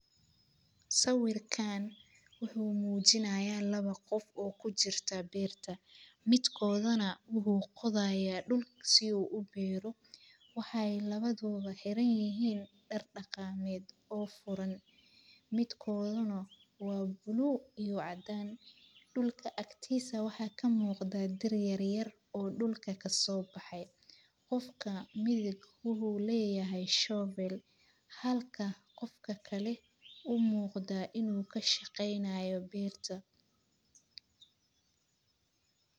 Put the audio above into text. Sawirkan wuxu mujinaya lawa qof oo kujirta beerta, midkodhana u qodhayo dulka si u biro waxay lawadhodha heranyihin dar dhaqaamed oo furan. midkodhana wa blue iyo cadan. Dulka aktisa waxa kamuqda dir yaryar oo dulka kasobaxay qofka midhabka u leyahay shobel halka qofka kale u muqda inu kashaqeynaya beerta.